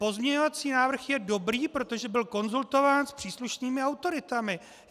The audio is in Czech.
Pozměňovací návrh je dobrý, protože byl konzultován s příslušnými autoritami.